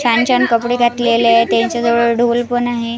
छान छान कपडे घातलेले आहे त्यांच्याजवळ ढोल पण आहे.